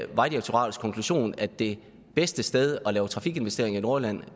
vejdirektoratets konklusion at det bedste sted at lave trafikinvestering i nordjylland